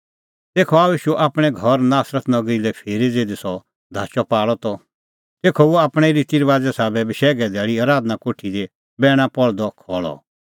तेखअ आअ ईशू आपणैं घर नासरत नगरी लै फिरी ज़िधी सह धाचअपाल़अ त तेखअ हुअ आपणैं रितीरबाज़े साबै बशैघे धैल़ी आराधना कोठी दी बैणा पहल़दअ खल़अ